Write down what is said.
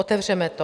Otevřeme to.